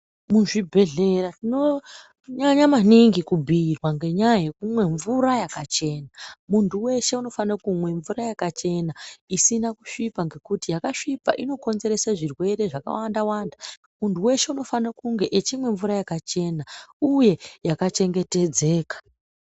Muzvi bhedhlera tinonyanya maningi kubhuyirwa ngenyaya yekumwe mvura yakachena. Muntu weshe unofanire kumwa mvura yakachena isina kusvipa, ngekuti mvura yakasvipa ino konzerese zvirwere zvakawanda wanda. Muntu weshe unofane kunge echimwe mvura yakachena uye yaka chengetedzeka.